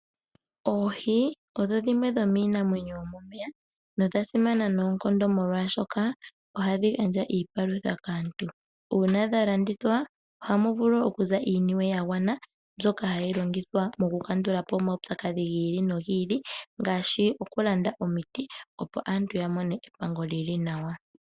Oohi odho dhimwe dhomiinamwenyo yomomeya nodhasimana noonkondo molwaashoka ohadhi gandja iipalutha kaantu. Uuna dhalandithwa ohamu vulu okuza iiniwe yagwana mbyoka hayi longithwa mokukandula po omaupyakadhi gi ili nogi ili, ngaashi okulanda omiti opo aantu ya mone epango lili nawa.